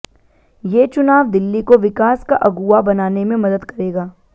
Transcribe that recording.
ये चुनाव दिल्ली को विकास का अगुवा बनाने में मदद करेगा